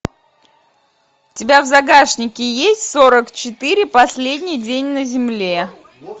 у тебя в загашнике есть сорок четыре последний день на земле